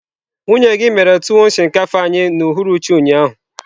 Nwunye gi mere tuwon shinkafa anyi n'uhuruchi ụnyaahụ.